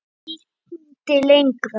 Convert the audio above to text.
Ég vildi lengra.